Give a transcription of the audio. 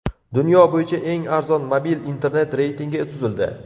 Dunyo bo‘yicha eng arzon mobil internet reytingi tuzildi.